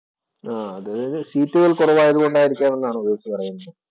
ആഹ് അത് സീറ്റുകള്‍ കുറവായത് കൊണ്ടായിരിക്കാം എന്നാണോ ഉവൈസ് പറയുന്നത്.